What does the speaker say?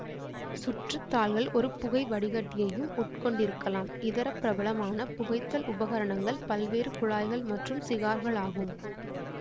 சுற்றுத் தாள்கள் ஒரு புகைவடிகட்டியையும் உட்கொண்டிருக்கலாம் இதரப் பிரபலமான புகைத்தல் உபகரணங்கள் பல்வேறு குழாய்கள் மற்றும் சிகார்களாகும்